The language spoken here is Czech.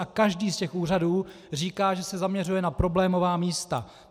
A každý z těch úřadů říká, že se zaměřuje na problémová místa.